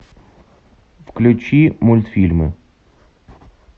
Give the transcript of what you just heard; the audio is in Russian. включи мультфильмы